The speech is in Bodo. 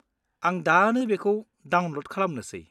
आं दानो बेखौ डाउनलड खालामनोसै।